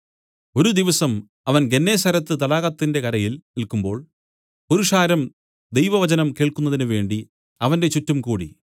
ഒരു ദിവസം അവൻ ഗന്നേസരത്ത് തടാകത്തിന്റെ കരയിൽ നില്ക്കുമ്പോൾ പുരുഷാരം ദൈവവചനം കേൾക്കുന്നതിന് വേണ്ടി അവന്റെ ചുറ്റും കൂടി